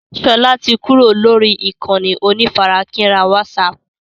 Sọlá tí kúrò lórí ìkànnì onífarakínra wásààpù